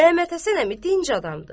Məhəmməd Həsən əmi dinc adamdır.